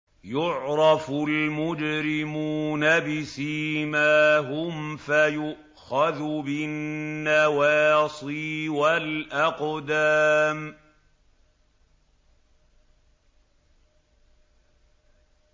يُعْرَفُ الْمُجْرِمُونَ بِسِيمَاهُمْ فَيُؤْخَذُ بِالنَّوَاصِي وَالْأَقْدَامِ